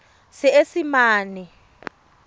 seesimane